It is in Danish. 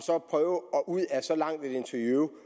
ud af så langt et interview